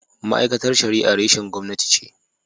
Ma’aikatar Shari’a reshen gwamnati ce.